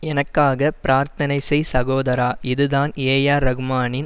எனக்காக பிரார்த்தனை செய் சகோதரா இதுதான் ஏஆர் ரஹ்மானின்